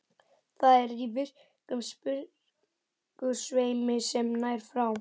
Það er í virkum sprungusveimi sem nær frá